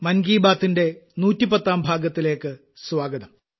മൻ കി ബാത്തിന്റെ 110ാം ഭാഗത്തിലേക്ക് സ്വാഗതം